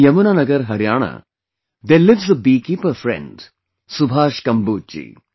In Yamunanagar, Harayana, there lives a beekeeper friend Subhash Kamboj ji